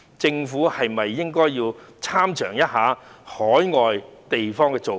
政府是否應該要參詳一下海外的做法？